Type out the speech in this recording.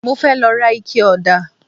Mo fẹ́ lọ ra ikẹ ọ̀dà